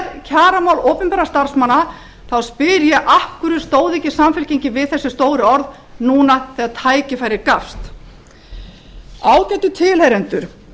fram og opinská umræða fari fram í samfélagi okkar um kosti og galla aðildar að e s b ágætu tilheyrendur